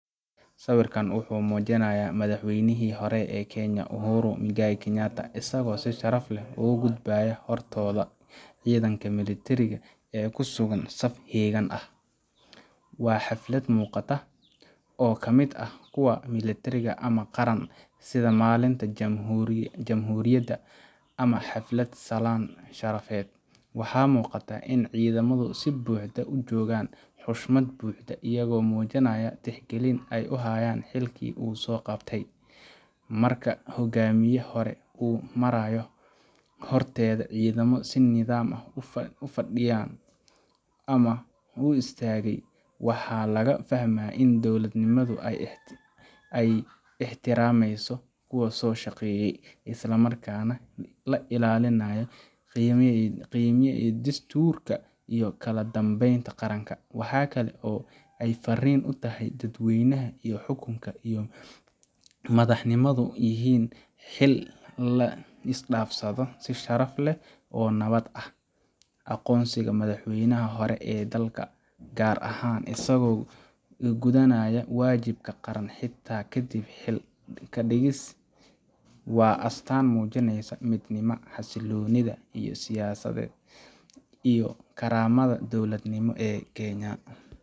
Siwirkan wuxu mujinayah madaxweynihi hore ee Kenya Uhuru mwingai Kenyatta asago sii sharaf leh ugudbayo hortoda cidanka militiriga ee kusugan saf hegan ah, waa xalfad miqataa oo kamid ah kuwa militiriga ama qaran sidhaa malinta jamhurida ama xalfad salan sharafed, waxa muqata in cidamadu sii buxdo ujogan xoshmad buxdo ayago mujinayah tixgalin aay uhayan xilki usoqabte, Marka hogamiya hore uu marayo horteda cidamada sii nidam ah ufadiyan ama uistagey waxa lagafahmaya dowladnimadu aay ixtirameyso kuwa soshaqeye islamarka nah lailalinayo qimahaa iyo dasturka iyo kaladambeynta qaranka, waxay kale oo ay farin utahay dadweynaha iyo xukunka iyo madaxnimadu iyo in xil lisdafsado si sharaf leh oo nabad ah, aqonsiga madaxweynihi hore ee dalka gar ahan isago gudanayo wajibka qaran xita kadib xil kadigis waa astan mujineysa midnima, xasiloni iyo siyasaded iyo karamada dowlad nimaded ee Kenya.